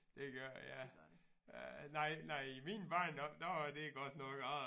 Det gør det ja øh nej nej i min barndom der var det godt nok